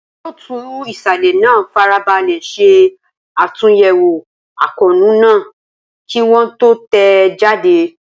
Olóòtú ìsàlẹ̀ náà farabalẹ̀ ṣe àtúnyẹ̀wò àkóónú náà kí wọ́n tó tẹ̀ ẹ́ jáde.